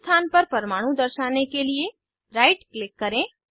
पहले स्थान पर परमाणु दर्शाने के लिए राइट क्लिक करें